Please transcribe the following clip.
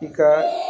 I ka